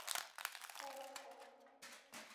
орску